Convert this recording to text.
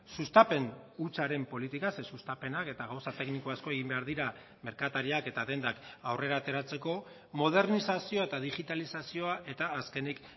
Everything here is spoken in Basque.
sustapen hutsaren politika ze sustapenak eta gauza tekniko asko egin behar dira merkatariak eta dendak aurrera ateratzeko modernizazioa eta digitalizazioa eta azkenik